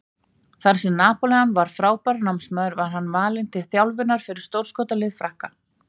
Þar sem Napóleon var frábær námsmaður var hann valinn til þjálfunar fyrir stórskotalið Frakka.